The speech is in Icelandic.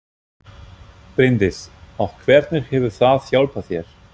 Bryndís: Og hvernig hefur það hjálpað þér?